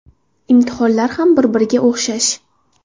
Imtihonlar ham bir-biriga o‘xshash.